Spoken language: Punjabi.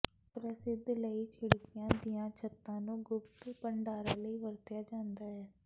ਪ੍ਰਸਿੱਧ ਲਈ ਖਿੜਕੀਆਂ ਦੀਆਂ ਛੱਤਾਂ ਨੂੰ ਗੁਪਤ ਭੰਡਾਰਾਂ ਲਈ ਵਰਤਿਆ ਜਾਂਦਾ ਹੈ